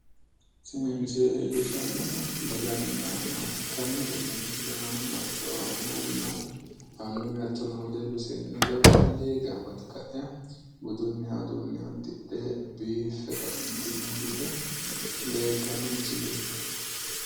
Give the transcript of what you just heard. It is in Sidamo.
Tini misile leellishshannohu daganna maate ikkanna tenne misile aanano hatto amuwunna annuwu hattono wedellu seennunna labballu gamba yite ka'e budunniha uduunne uddidhe biiffe ka'eentinni uurrite leeltanno misileeti